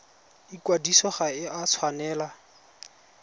ikwadiso ga e a tshwanela